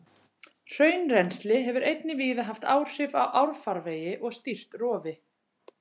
Hraunrennsli hefur einnig víða haft áhrif á árfarvegi og stýrt rofi.